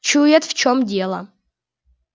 чует в чём дело